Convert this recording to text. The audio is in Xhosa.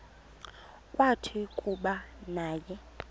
kwathi kuba naye